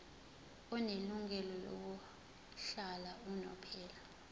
onelungelo lokuhlala unomphela